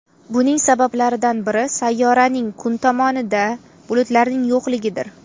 Buning sabablaridan biri sayyoraning kun tomonida bulutlarning yo‘qligidir.